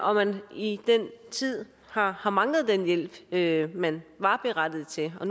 og at man i den tid har har manglet den hjælp hjælp man var berettiget til og